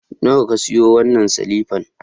Nawa ka sayo wannan silifan?